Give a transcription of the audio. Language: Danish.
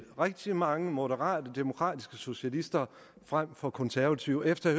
rigtig mange moderate demokratiske socialister frem for konservative efter at